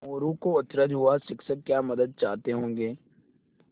मोरू को अचरज हुआ शिक्षक क्या मदद चाहते होंगे